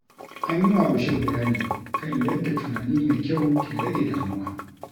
An yi wa Bashir bayani kan yadda tunani mai kyau ke rage damuwa.